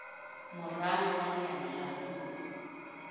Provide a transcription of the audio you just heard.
moralo wa leano la puo